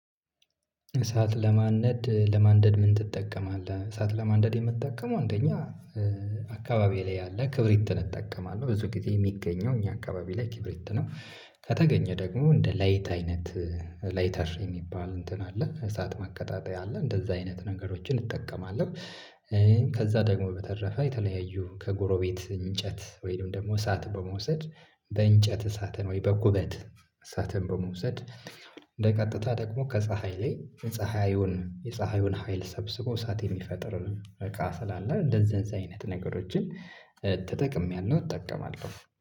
እሳት ለማንደድ ለማንደድ ምን ትጠቀማለህ? እሳት ለማንደድ የምጠቀመው አንደኛ አካባቢ ላይ ያለ ክብሪትን እጠቀማለሁ ብዙ ጊዜ የሚገኘው እኛ አካባቢ ላይ ክብሪት ነው። ከተገኘ ደግሞ እንደ ላይት አይነት ላይተር የሚባል እንትን አለ እሳት ማቀጣጠያ አለ እንደዛ አይነት ነገሮችን እጠቀማለሁ። ከዛ ደግሞ በተረፈ የተለያዩ ከጎረቤት እንጨት ወይንም ደግሞ እሳት በመውሰድ በእንጨት እሳትን ወይ በኩበት እሳትን በመውሰድ እንደ ቀጥታ ደግሞ ከፀሀይ ላይ ፀሀዩን የፀሀዩን ሀይል ሰብስቦ እሳት የሚፈጥር እቃ ስላለ እንደዚህዚህ አይነት ነገሮችን ተጠቅሜያለሁ እጠቀማለሁ